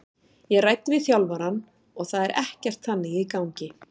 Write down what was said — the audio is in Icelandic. Ég ræddi við þjálfarann og það er ekkert þannig í gangi.